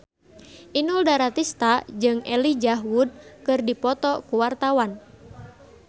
Inul Daratista jeung Elijah Wood keur dipoto ku wartawan